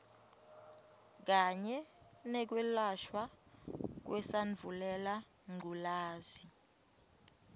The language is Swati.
kanye nekwelashwa kwesandvulelangculazi